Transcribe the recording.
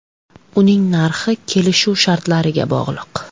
Uning narxi kelishuv shartlariga bog‘liq.